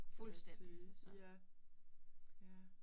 Vil jeg sige, ja. Ja